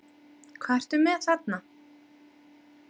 Hvað ertu með þarna?